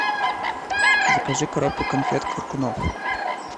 закажи коробку конфет коркунов